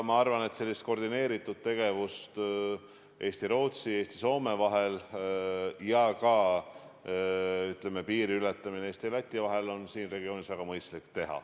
Ma arvan, et selline koordineeritud tegevus Eesti ja Rootsi ning Eesti ja Soome vahel ning ka piiri ületamise puhul Eesti ja Läti vahel on siin regioonis väga mõistlik.